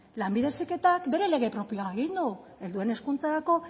lanbide heziketak bere lege propioa egin du helduen hezkuntzarako